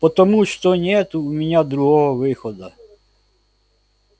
потому что нет у меня другого выхода